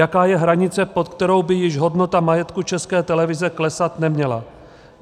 Jaká je hranice, pod kterou by již hodnota majetku České televize klesat neměla?